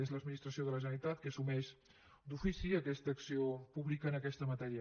és l’administració de la generalitat qui assumeix d’ofici aquesta acció pública en aquesta matèria